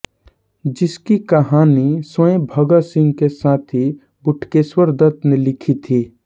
जिसकी कहानी स्वयं भगत सिंह के साथी बटुकेश्वर दत्त ने लिखी थी